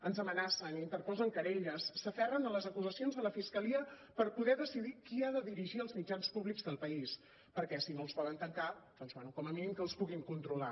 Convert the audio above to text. ens amenacen interposen querelles s’aferren a les acusacions de la fiscalia per poder decidir qui ha de dirigir els mitjans públics del país perquè si no els poden tancar doncs bé com a mínim que els puguin controlar